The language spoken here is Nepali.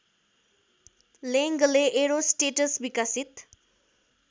लेङ्गले एरोस्टेट्स विकसित